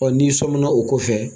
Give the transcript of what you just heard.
Ɔ n' sɔmina o ko fɛ.